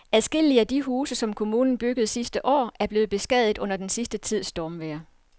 Adskillige af de huse, som kommunen byggede sidste år, er blevet beskadiget under den sidste tids stormvejr.